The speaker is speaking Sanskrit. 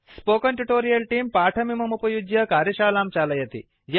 स्पोकेन ट्यूटोरियल् तेऽं पाठमिममुपयुज्य कार्यशालां चालयति